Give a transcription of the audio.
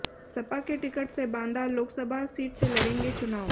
सपा के टिकट से बांदा लोकसभा सीट से लड़ेंगे चुनाव